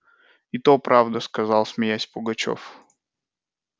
и то правда сказал смеясь пугачёв